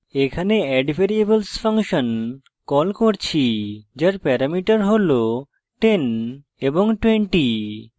এখানে addvariables function call করছি যার প্যারামিটার হল 10 এবং 20